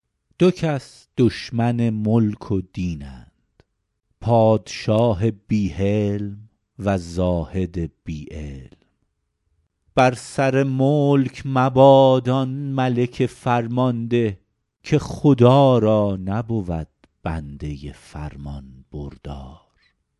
دو کس دشمن ملک و دینند پادشاه بی حلم و زاهد بی علم بر سر ملک مباد آن ملک فرمانده که خدا را نبود بنده فرمانبردار